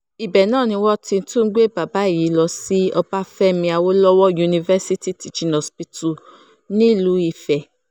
ibẹ̀ náà ni wọ́n ti tún gbé bàbá yìí lọ sí ọbáfẹ́mi awolowo university teaching hospital nílùú ife